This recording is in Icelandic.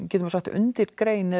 undirgrein